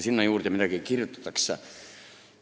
Sinna juurde midagi veel kirjutatakse.